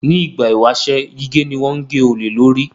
Ní ìgbà ìwáṣẹ̀, gígé ni wọ́n ń gé olè lórí